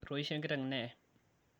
etoishe enkiteng neye